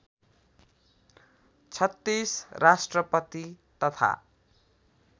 ३६ राष्ट्रपति तथा